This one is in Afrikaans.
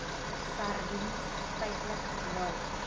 sardiens feitlik nul